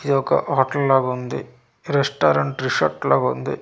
ఇది ఒక హోటల్ లాగా ఉంది రెస్టారెంట్ రిసార్ట్ లా ఉంది.